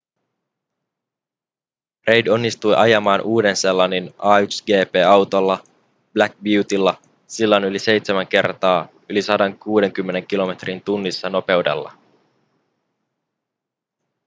reid onnistui ajamaan uuden-seelannin a1gp-autolla black beautylla sillan yli seitsemän kertaa yli 160 km/h nopeudella